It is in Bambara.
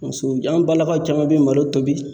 Muso an balakaw caman be malo tobi.